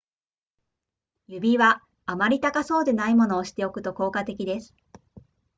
指輪あまり高そうでないものをしておくと効果的です